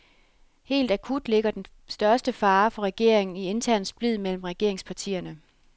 Helt akut ligger den største fare for regeringen i intern splid mellem regeringspartierne.